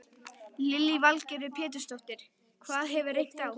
Lillý Valgerður Pétursdóttir: Það hefur reynt á?